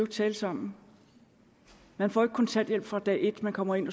tale sammen man får ikke kontanthjælp fra dag et man kommer ind